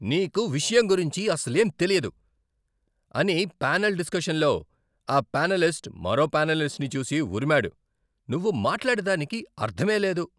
నీకు విషయం గురించి అసలేం తెలియదు, అని ప్యానెల్ డిస్కషన్లో ఆ ప్యానేలిస్ట్ మరో ప్యానేలిస్ట్ని చూసి ఉరిమాడు, నువ్వు మాట్లాడే దానికి అర్థమే లేదు.